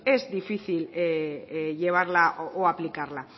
bueno pues es difícil llevarla o aplicarla